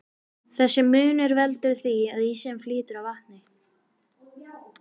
Þessi munur veldur því að ísinn flýtur á vatni.